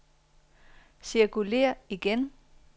cirkulér igen